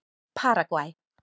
Ég verð að fela mig.